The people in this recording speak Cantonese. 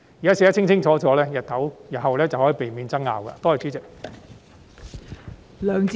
現時寫得清清楚楚，就可以避免日後出現爭拗。